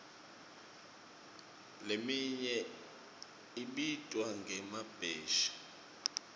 leminye ibitwa ngemabheshi